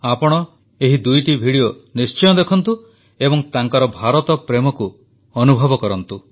ଆପଣ ଏହି ଦୁଇଟି ଭିଡିଓ ନିଶ୍ଚିତ ଦେଖନ୍ତୁ ଏବଂ ତାଙ୍କର ଭାରତପ୍ରେମକୁ ଅନୁଭବ କରନ୍ତୁ